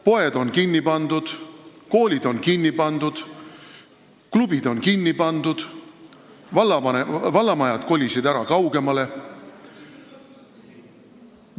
Poed on kinni pandud, koolid on kinni pandud, klubid on kinni pandud, vallamajad on kaugemale kolinud.